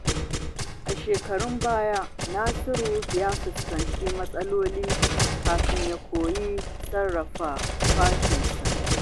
A shekarun baya, Nasiru ya fuskanci matsaloli kafin ya koyi sarrafa fushinsa.